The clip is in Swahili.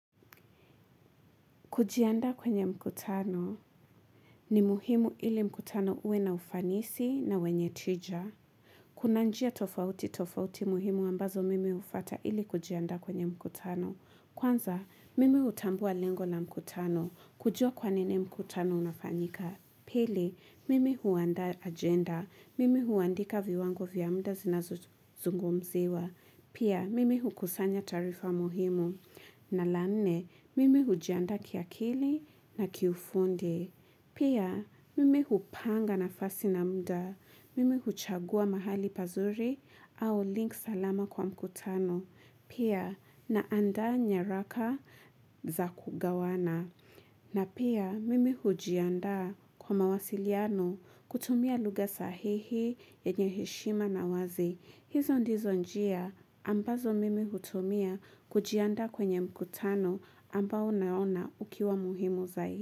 Kujiandaa kwenye mkutano ni muhimu ili mkutano uwe na ufanisi na wenye tija. Kuna njia tofauti tofauti muhimu ambazo mimi hufuata ili kujiandaa kwenye mkutano. Kwanza, mimi hutambua lengo la mkutano kujua kwa nini mkutano unafanyika. Pili, mimi huandaa agenda. Mimi huandika viwango vya mda zinazongumziwa. Pia, mimi hukusanya tarifa muhimu. Na la nne, mimi hujiandaa kiakili na kiufundi. Pia, mimi hupanga nafasi na mda. Mimi huchagua mahali pazuri au link salama kwa mkutano. Pia, naandaa nyaraka za kugawana. Na pia mimi hujiandaa kwa mawasiliano kutumia lugha sahihi yenye heshima na wazi. Hizo ndizo njia ambazo mimi hutumia kujianda kwenye mkutano ambao naona ukiwa muhimu zai.